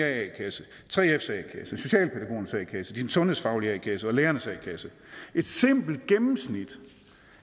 a kasse 3fs a kasse socialpædagogernes a kasse din sundhedsfaglige a kasse og lærernes a kasse et simpelt gennemsnit